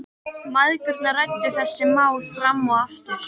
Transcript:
Mæðgurnar ræddu þessi mál fram og aftur.